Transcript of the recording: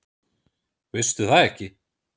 Veistu það ekki?